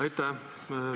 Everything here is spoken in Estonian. Aitäh!